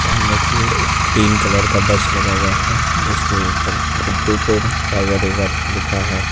सामने की ओर एक ग्रीन कलर का बस लगा हुआ है जिसके ऊपर बिंदुपुर टाइगर रिजर्व लिखा है।